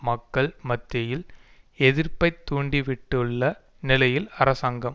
மக்கள் மத்தியில் எதிர்ப்பை தூண்டிவிட்டுள்ள நிலையில் அரசாங்கம்